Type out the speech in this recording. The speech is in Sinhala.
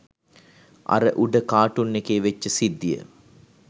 අර උඩ කාටූන් එකේ වෙච්ච සිද්දිය